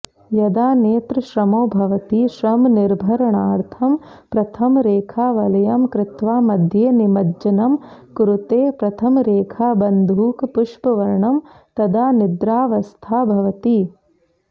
यदा नेत्रश्रमो भवति श्रमनिर्भरणार्थं प्रथमरेखावलयं कृत्वा मध्ये निमज्जनं कुरुते प्रथमरेखाबन्धूकपुष्पवर्णं तदा निद्रावस्था भवति